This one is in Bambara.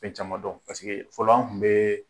Fɛn caman dɔn paseke fɔlɔ an tun bɛ